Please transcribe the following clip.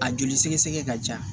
A joli sɛgɛsɛgɛ ka ca